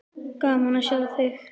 Gaman að sjá þig.